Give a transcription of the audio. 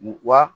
Wa